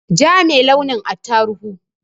Ja me launin attaruhu